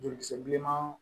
Joli kisɛ bilenman